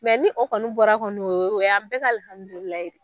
Mɛ ni o kɔni bɔra kɔni o o yan bɛɛ ka alhamdulililahi.